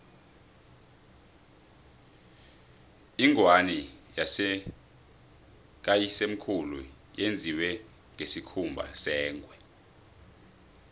ingwani kayisemkhulu yenziwe ngesikhumba sengwe